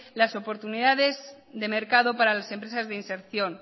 las oportunidades de mercado para las empresas de inserción